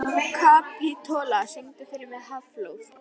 Kapitola, syngdu fyrir mig „Háflóð“.